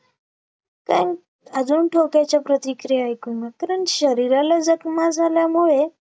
त्यान अजून, ठोक्याच्या प्रतिक्रिया ऐकून कारण शरीराला जखमा झाल्यामुळे